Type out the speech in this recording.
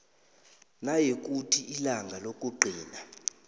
nayikuthi ilanga lokugcina